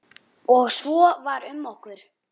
Og svo var um okkur.